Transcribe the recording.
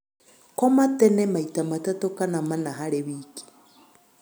Koma tene maĩta matatu kana mana harĩ wĩkĩ